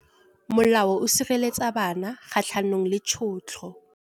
Molao o sireletsa bana kgatlhanong le tshotlo.